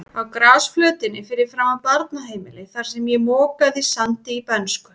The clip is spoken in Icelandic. Á grasflötinni fyrir framan barnaheimilið, þar sem ég mokaði sandi í bernsku.